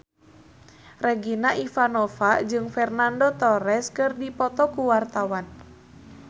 Regina Ivanova jeung Fernando Torres keur dipoto ku wartawan